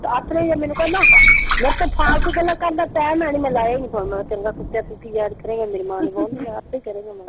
ਆਥਣੇ ਜਿਹੇ ਮੈਨੂੰ ਕਹਿੰਦਾ ਮੇਰੇ ਕੋਲ ਫਾਲਤੂ ਗੱਲਾਂ ਕਰਨ ਦਾ ਟਾਈਮ ਹੈ ਨਈਂ ਮੈਂ ਲਾਇਆ ਈ ਨਈਂ ਫੋਨ। ਮੈਂ ਕਿਹਾ ਚੰਗਾ ਕੁੱਤਿਆ ਤੂੰ ਕੀ ਯਾਦ ਕਰੇਂਗਾ ਮੇਰੀ ਮਾਂ ਨੂੰ ਫੋਨ ਨਈਂ ਲਾਇਆ। ਆਪੇ ਕਰੇਂਗਾ ਮੈਂ ਕਿਹਾ।